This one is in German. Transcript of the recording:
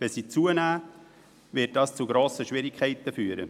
Wenn sie zunehmen, wird dies zu grossen Schwierigkeiten führen.